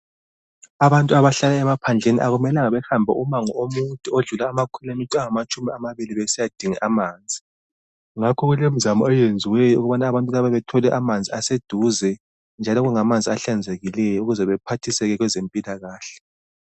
Abantu abahlala emaphandleni akumelanga bahambe umango omude odlula amakhilomitha angamatshumi amabili besiyadinga amanzi ngakho kulemizamo eyenziweyo ukubana abantu laba bathole amanzi aseduze njalo kube ngamanzi ahlanzekileyo ahlanzekileyo ukuze baphathiseke kwezempilakahle.